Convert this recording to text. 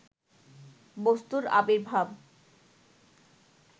বস্তুর আবির্ভাব